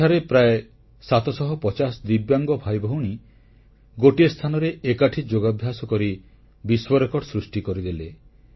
ସେଠାରେ ପ୍ରାୟ 750 ଦିବ୍ୟାଙ୍ଗ ଭାଇଭଉଣୀ ଗୋଟିଏ ସ୍ଥାନରେ ଏକାଠି ଯୋଗାଭ୍ୟାସ କରି ବିଶ୍ୱରେକର୍ଡ ସୃଷ୍ଟି କରିଦେଲେ